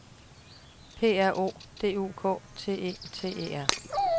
P R O D U K T E T E R